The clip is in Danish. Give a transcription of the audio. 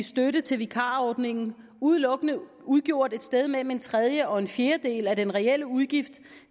støtte til vikarordningen udelukkende udgjort et sted mellem en tredjedel og en fjerdedel af den reelle udgift